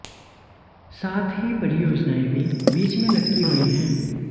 साथ ही परियोजनाएं भी बीच में लटकी हुई हैं